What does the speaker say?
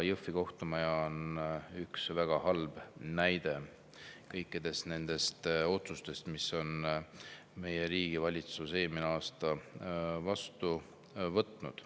Jõhvi kohtumaja on üks väga halb näide kõikidest nendest otsustest, mis on meie riigi valitsus eelmisel aastal vastu võtnud.